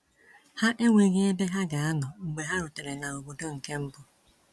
Ha enweghị ebe ha ga anọ mgbe ha rutere na obodo nke mbụ.